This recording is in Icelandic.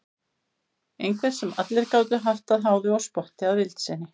Einhver sem allir gátu haft að háði og spotti að vild sinni.